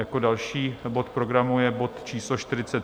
Jako další bod programu je bod číslo